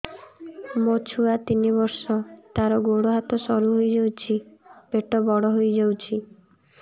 ମୋ ଛୁଆ ତିନି ବର୍ଷ ତାର ଗୋଡ ହାତ ସରୁ ହୋଇଯାଉଛି ପେଟ ବଡ ହୋଇ ଯାଉଛି